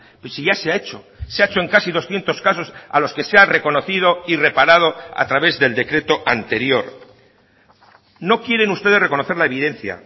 pero si ya se ha hecho se ha hecho en casi doscientos casos a los que se ha reconocido y reparado a través del decreto anterior no quieren ustedes reconocer la evidencia